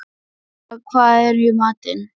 Ólafía, hvað er í matinn?